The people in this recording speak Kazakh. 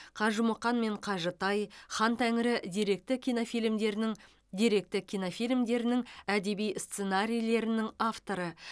қажымұқан мен қажытай хан тәңірі деректі кинофильмдерінің деректі кинофильмдерінің әдеби сценарийлерінің авторы